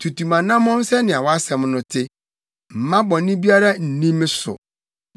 Tutu mʼanammɔn sɛnea wʼasɛm no te; mma bɔne biara nni me so.